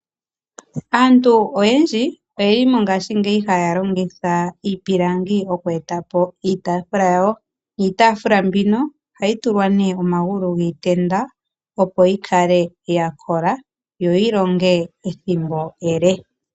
Aantu oyendji oyeli mongaashingeyi haya longitha iipilangi okweeta po iitafula yawo, niitafula mbino ohayi tulwa ne omagulu giitenda opo yikale ya kola yo yilonge ethimbo ele.